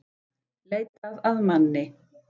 Leitað að manni